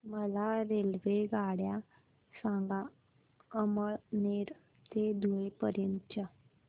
मला रेल्वेगाड्या सांगा अमळनेर ते धुळे पर्यंतच्या